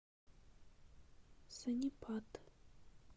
сонипат